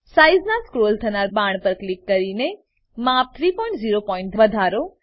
size નાં scroll થનાર બાણ પર ક્લિક કરીને માપને 30 પોઈન્ટ વધારો